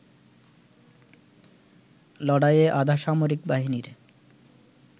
লড়াইয়ে আধাসামরিক বাহিনীর